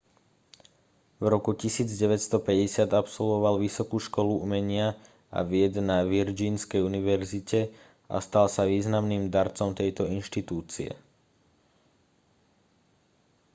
v roku 1950 absolvoval vysokú školu umenia a vied na virgínskej univerzite a stal sa významným darcom tejto inštitúcie